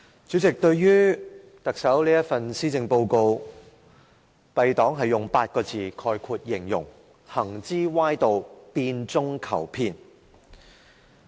主席，對於特首這份施政報告，敝黨會用8個字形容："行之歪道，變中求騙"。